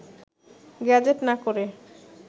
gazette না করে